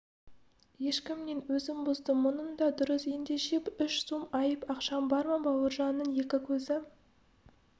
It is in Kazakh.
ешкімнен өзім бұздым мұның да дұрыс ендеше үш сом айып ақшаң бар ма бауыржанның екі көзі